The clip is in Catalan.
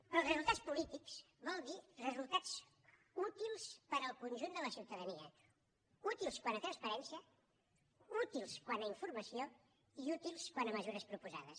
però els resultats polítics vol dir resultats útils per al conjunt de la ciutadania útils quant a transparència útils quant a informació i útils quant a mesures proposades